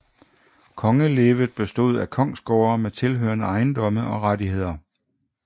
Kongelevet bestod af kongsgårde med tilhørende ejendomme og rettigheder